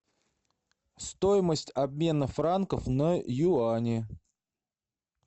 стоимость обмена франков на юани